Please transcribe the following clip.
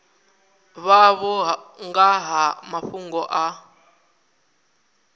vhavho nga ha mafhungo a